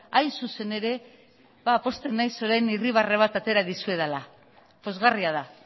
hain zuzen ere pozten naiz orain irribarre bat atera dizuedala pozgarria da